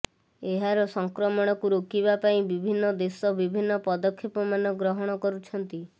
ଏହାର ସଂକ୍ରମଣକୁ ରୋକିବା ପାଇଁ ବିଭିନ୍ନ ଦେଶ ବିଭିନ୍ନ ପଦକ୍ଷେପ ମାନ ଗ୍ରହଣ କରୁଛନ୍ତି